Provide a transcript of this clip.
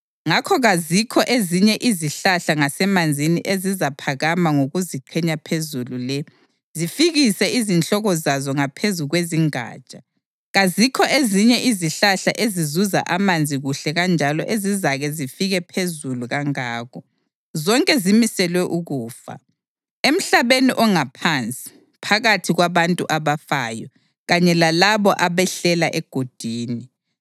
Ngakho kazikho ezinye izihlahla ngasemanzini ezizaphakama ngokuziqhenya phezulu le, zifikise izihloko zazo ngaphezu kwezingatsha. Kazikho ezinye izihlahla ezizuza amanzi kuhle kanjalo ezizake zifike phezulu kangako; zonke zimiselwe ukufa, emhlabeni ongaphansi, phakathi kwabantu abafayo, kanye lalabo abehlela egodini.